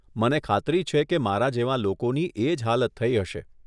મને ખાતરી છે કે મારા જેવાં લોકોની એજ હાલત થઇ હશે.